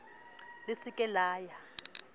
le se ke la ya